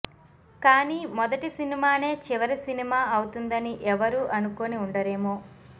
కాని మొదటి సినిమానే చివరి సినిమా అవుతుందని ఎవరూ అనుకోని ఉండరేమో